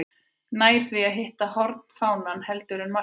Nær því að hitta hornfánann heldur en markið.